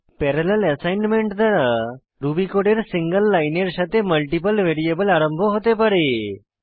parallel assignment দ্বারা Ruby কোডের single লাইনের সাথে মাল্টিপল ভ্যারিয়েবল আরম্ভ হতে পারে